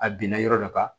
A binna yɔrɔ dɔ kan